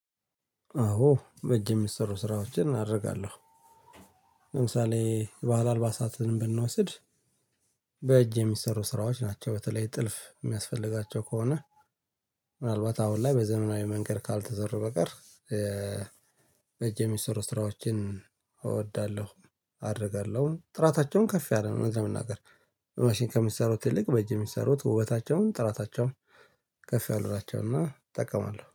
አዎ በእጅ የሚሰሩ ስራዎችን አደርጋለሁ። ለምሳሌ የባህል አልባሳትን ብንወስድ በእጅ የሚሰሩ ስራዎች ናቸው። በተለይ ጥልፍ የሚያስፈልጋቸው ከሆነ ምናልባት አሁን ላይ በዘመናዊ መንገድ ካልተሰሩ በቀር። በእጅ የሚሰሩ ስራዎችን እወዳለሁ። አደርጋለሁ ጥራታቸውም ከፍ ያለ ነው። ለመናገር በማሽን ከሚሰሩት ይልቅ በእጅ የሚሰሩት ውበታቸውም ጥራታቸውም ከፍ ያሉ ናቸው። እና እጠቀማለሁ